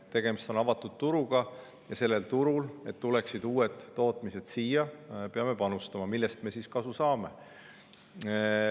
Tegemist on avatud turuga ja sellel turul peame panustama, et siia tuleksid uued tootmised, millest me siis kasu saame.